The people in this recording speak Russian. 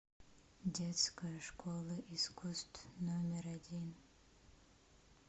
детская школа искусств номер один